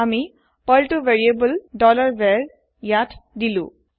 আমি পাৰ্ল তু ভেৰিয়েবল varত দিলো